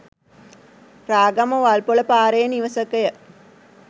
රාගම වල්පොල පාරේ නිවසකය.